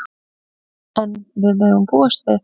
En við megum búast við.